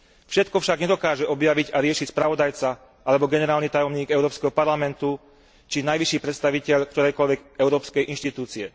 Všetko však nedokáže objaviť a riešiť spravodajca, alebo generálny tajomník Európskeho parlamentu, či najvyšší predstaviteľ ktorejkoľvek európskej inštitúcie.